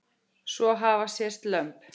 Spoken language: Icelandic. Svo hafa sést lömb.